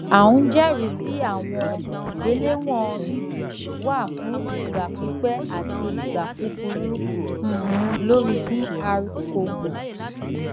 a n jẹrisi awọn igbelewọn bb wa fun igba pipẹ ati igba kukuru um lori dr congo